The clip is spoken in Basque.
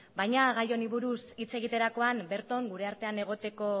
baina gai honi buruz hitz egiterakoan bertan gure artean egoteko